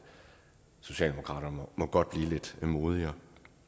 socialdemokraterne må godt blive lidt modigere